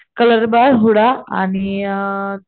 colour bar हुडा आणि अ